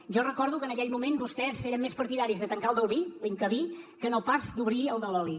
jo recordo que en aquell moment vostès eren més partidaris de tancar el del vi l’incavi que no pas d’obrir el de l’oli